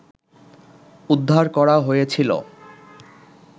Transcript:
উদ্ধার করা হয়েছিল